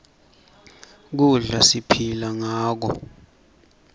kudla siphila ngako